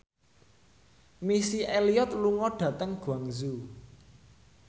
Missy Elliott lunga dhateng Guangzhou